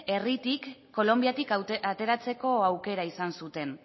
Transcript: herritik kolonbiatik ateratzeko aukera izan zuten